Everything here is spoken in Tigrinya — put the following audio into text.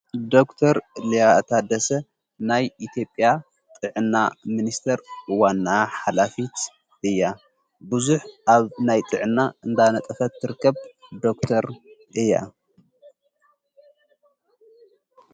ዶክተር ልያእታደሰ ናይ ኢቲጴያ ጥዕና ምንስተር ዋና ሓላፊት እያ ብዙኅ ኣብ ናይ ጥዕና እንዳነጠፈት ትርከብ ዶክተር እያ።